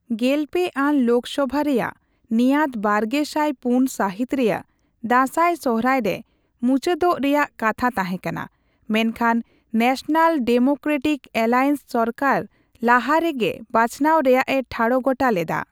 ᱜᱮᱞᱯᱮ ᱟᱱ ᱞᱳᱠᱥᱚᱵᱷᱟ ᱨᱮᱭᱟᱜ ᱱᱮᱭᱟᱫᱵᱟᱨᱜᱮᱥᱟᱭ ᱯᱩᱱ ᱥᱟᱹᱦᱤᱛ ᱨᱮᱭᱟᱜ ᱫᱟᱥᱟᱭᱼᱥᱚᱦᱨᱟᱭᱼᱨᱮ ᱢᱩᱪᱟᱹᱫᱚᱜ ᱨᱮᱭᱟᱜ ᱠᱟᱛᱷᱟ ᱛᱟᱦᱮᱸᱠᱟᱱᱟ, ᱢᱮᱱᱠᱷᱟᱱ ᱱᱮᱥᱱᱟᱞ ᱰᱮᱢᱳᱠᱨᱮᱴᱤᱠ ᱮᱞᱟᱭᱮᱱᱥ ᱥᱚᱨᱠᱟᱨ ᱞᱟᱦᱟᱨᱮ ᱜᱮ ᱵᱟᱪᱷᱱᱟᱣ ᱨᱮᱭᱟᱜᱼᱮ ᱴᱷᱟᱲᱚ ᱜᱚᱴᱟ ᱞᱮᱫᱟ ᱾